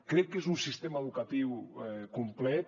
crec que és un sistema educatiu complet